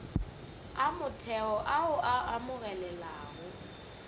a motheo ao a amogelegago